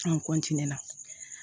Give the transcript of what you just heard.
An na